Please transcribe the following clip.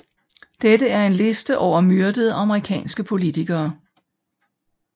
Dette er en liste over myrdede amerikanske politikere